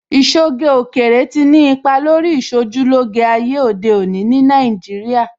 Ìṣoge òkèèrè tí ni ipa lórí Ìṣojúlóge ayé òde òní ní Nàìjíríà